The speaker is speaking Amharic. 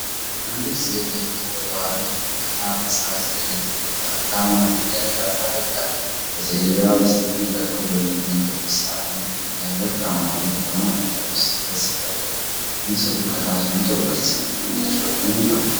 አንዲት ሴት የፊት ቆዳዋ ላይ ጠብታ ፈሳሽ ዘይት ከጠብታ ማድረጊያ ጋር ታደርጋለች። ከሴትየዋ በስተቀኝ በኩል በሚገኝ ክብ ሳህን ላይ ወርቃማ ዘይት ከማጣሪያ ውስጥ ሲፈስ ይታያል። ምስሉ ከታች “100%” የሚል ጽሑፍን ይዟል።